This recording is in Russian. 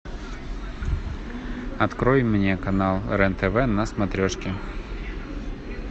открой мне канал рен тв на смотрешке